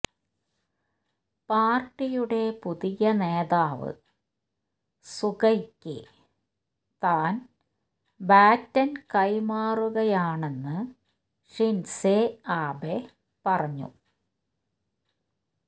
പാർട്ടിയുടെ പുതിയ നേതാവ് സുഗയ്ക്ക് താൻ ബാറ്റൻ കൈമാറുകയാണെന്ന് ഷിൻസെ ആബെ പറഞ്ഞു